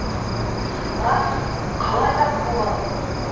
рас қалай рас болады